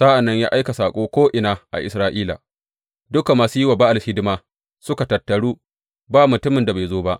Sa’an nan ya aika saƙo ko’ina a Isra’ila, dukan masu yi wa Ba’al hidima kuwa suka tattaru, ba mutumin da bai zo ba.